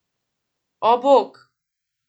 O, bog!